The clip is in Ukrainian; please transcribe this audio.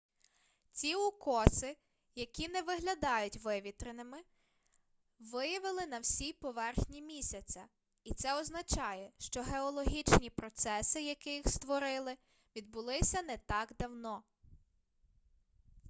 ці укоси які не виглядають вивітреними виявили на всій поверхні місяця і це означає що геологічні процеси які їх створили відбулися не так давно